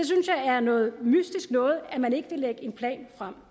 er noget mystisk noget at man ikke vil lægge en plan frem